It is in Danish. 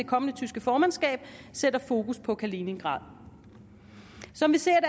kommende tyske formandskab sætter fokus på kaliningrad som vi ser